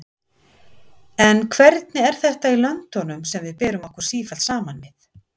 En hvernig er þetta í löndunum sem við berum okkur sífellt saman við?